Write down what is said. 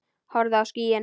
Horfðu á skýin.